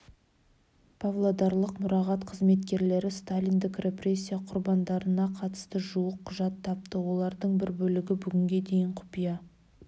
павлодарлық мұрағат қызметкерлері сталиндік репрессия құрбандарына қатысты жуық құжат тапты олардің бір бөлігі бүгінге дейін құпия